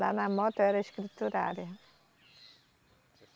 Lá na moto eu era escriturária.